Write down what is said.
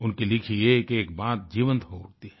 उनकी लिखी एकएक बात जीवंत हो उठती है